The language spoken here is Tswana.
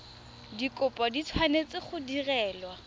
dikopo di tshwanetse go direlwa